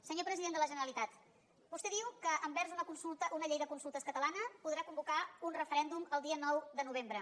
senyor president de la generalitat vostè diu que amb una llei de consultes catalana podrà convocar un referèndum el dia nou de novembre